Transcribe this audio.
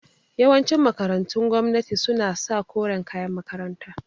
Yawancin makarantun gwamnati su na sa koren kayan makaranta